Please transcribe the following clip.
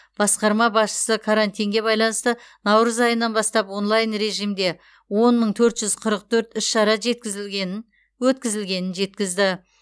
басқарма басшысы карантинге байланысты наурыз айынан бастап онлайн режимде он мың төрт жүз қырық төрт іс шара жеткізілгенін өткізілгенін жеткізді